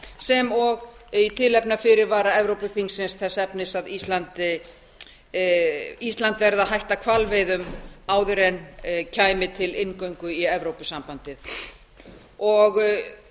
sem og í tilefni af fyrirvara evrópuþingsins þess efnis að ísland verði að hætta hvalveiðum áður en kæmi til inngöngu í evrópusambandið og